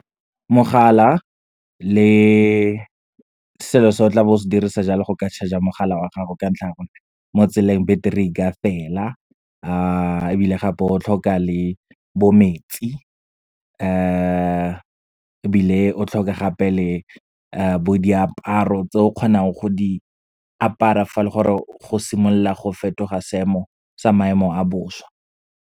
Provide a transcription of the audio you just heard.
Mogala le selo se o tlabeng o se dirisa jalo go ka charger mogala wa gago, ka ntlha ya gore mo tseleng, battery e ka fela. Ebile gape o tlhoka le bo metsi. Ebile o tlhoke gape le bo diaparo tse o kgonang go di apara, fa le gore go simolola go fetoga seemo, sa maemo a bosa.